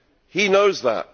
He knows that.